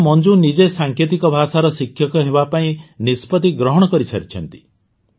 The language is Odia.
ଏବେ ତ ମଞ୍ଜୁ ନିଜେ ସାଙ୍କେତିକ ଭାଷାର ଶିକ୍ଷକ ହେବା ପାଇଁ ନିଷ୍ପତି ଗ୍ରହଣ କରିସାରିଛନ୍ତି